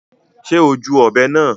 Ṣe o júù ọbẹ náà?